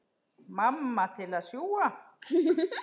Mamma til að sjúga.